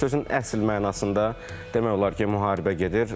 Sözün əsl mənasında demək olar ki, müharibə gedir.